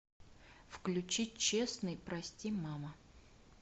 включить честный прости мама